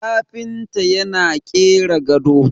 kafinta yana kera gado